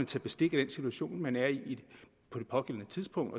tage bestik af den situation man er i på det pågældende tidspunkt